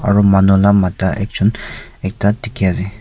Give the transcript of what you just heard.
aru manu nam mata ekjon ekta dikhiase.